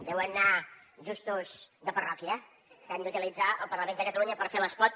deuen anar justos de parròquia que han d’utilitzar el parlament de catalunya per fer l’espot